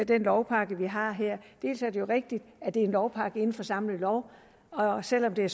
den lovpakke vi har her det er jo rigtigt at det er en lovpakke inden for den samme lov selv om det